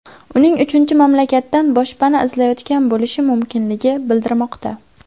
Uning uchinchi mamlakatdan boshpana izlayotgan bo‘lishi mumkinligi bildirilmoqda.